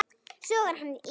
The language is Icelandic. Sogar hann í sig.